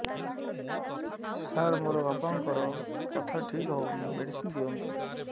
ସାର ମୋର ବାପାଙ୍କର କଥା ଠିକ ହଉନି ମେଡିସିନ ଦିଅନ୍ତୁ